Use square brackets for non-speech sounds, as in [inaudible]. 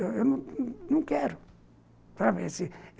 [unintelligible] Eu não quero [unintelligible]